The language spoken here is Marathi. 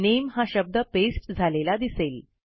नामे हा शब्द पेस्ट झालेला दिसेल